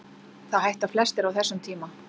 Það hætta flestir á þessum tíma.